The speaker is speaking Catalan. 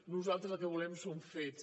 nosaltres el que volem són fets